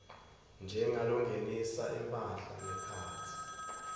njengalongenisa imphahla ngekhatsi